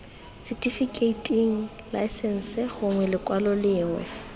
setifikeiting laesense gongwe lekwalo lengwe